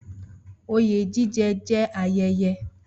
Oyè jíjẹ jẹ́ ayẹyẹ